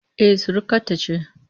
E, surukata ce